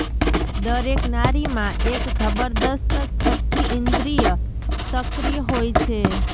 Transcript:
દરેક નારીમાં એક જબરજસ્ત છઠ્ઠી ઇંદ્રિય સક્રિય હોય છે